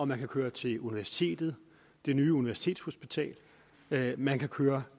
man kan køre til universitetet det nye universitetshospital man kan køre